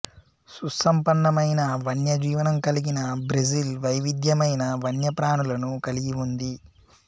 సుసంపన్నమైన వన్యజీవనం కలిగిన బ్రెజిల్ వైవిధ్యమైన వన్యప్రాణులను కలిగి ఉంది